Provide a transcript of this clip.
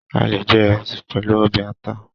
A le je Iresi pẹlu ọbẹ ata